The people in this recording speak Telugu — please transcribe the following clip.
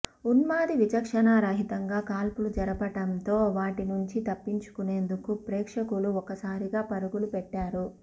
ఉన్మాది విచక్షణారహితంగా కాల్పులు జరపడంతో వాటి నుంచి తప్పించుకునేందుకు ప్రేక్షకులు ఒక్కసారిగా పరుగులు పెట్టారు